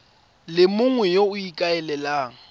le mongwe yo o ikaelelang